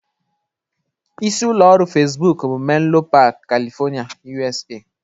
Isi ụlọ ọrụ Fesbuk bụ Menlo Park, California, USA